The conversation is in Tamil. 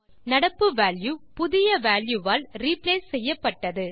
நடப்பு வால்யூ புதிய வால்யூவால் ரிப்ளேஸ் செய்யப்பட்டது